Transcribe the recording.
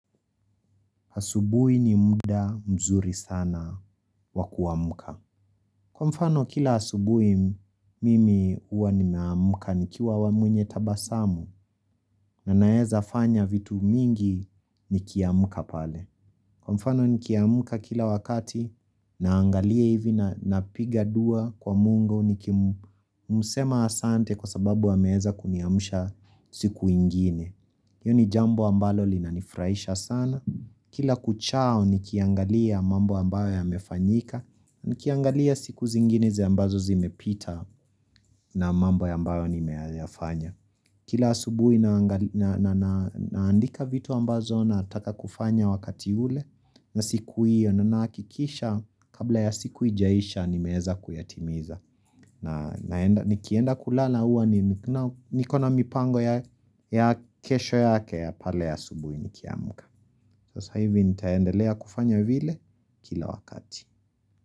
Asubui ni muda mzuri sana wakuamka. Kwa mfano kila asubui mimi huwa ninaamka nikiwa wa mwenye tabasamu na naeza fanya vitu mingi nikiamka pale. Kwa mfano nikiamka kila wakati naangalia hivi na piga dua kwa mungu nikimsema asante kwa sababu ameeza kuniamsha siku ingine. Hiyoni jambo ambalo linanifurahisha sana. Kila kuchao nikiangalia mambo ambayo ya mefanyika. Nikiangalia siku zingineza ambazo zimepita na mambo ambayo ni meyafanya. Kila asubui naandika vitu ambazo nataka kufanya wakati ule na siku iyo na nahakikisha kabla ya siku ijaisha ni meeza kuyatimiza. Na nikienda kulala huwa nikona mipango ya kesho yake ya pale asubuhi nikiamka Sasa hivi nitaendelea kufanya vile kila wakati.